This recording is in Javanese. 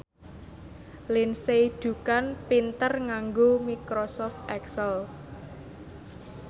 Lindsay Ducan pinter nganggo microsoft excel